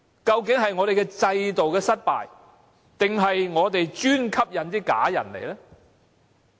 究竟是我們的制度失敗，還是我們只是吸引"假難民"到來呢？